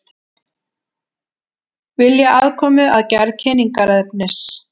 Vilja aðkomu að gerð kynningarefnis